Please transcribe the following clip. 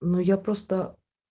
ну я просто